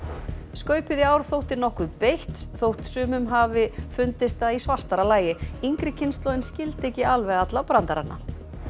skaupið í ár þótti nokkuð beitt þótt sumum hafi fundist það í svartara lagi yngri kynslóðin skildi ekki alveg alla brandarana